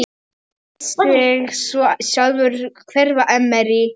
Lét sig svo sjálfur hverfa.